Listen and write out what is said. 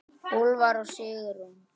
Úlfar og Sigrún.